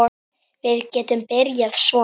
Við getum byrjað svona